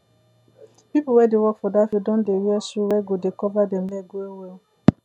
pple wey dey work for that field don dey wear shoe wey go dey cover dem leg well well